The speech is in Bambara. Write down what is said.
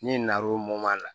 N'i na na o la